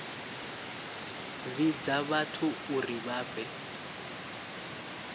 vhidza vhathu uri vha fhe